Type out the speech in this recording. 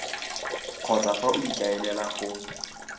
kgotsa fa o ikaelela go